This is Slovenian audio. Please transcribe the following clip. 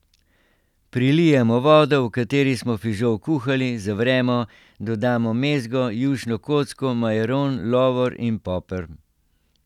Prilijemo vodo, v kateri smo fižol kuhali, zavremo, dodamo mezgo, jušno kocko, majaron, lovor in poper.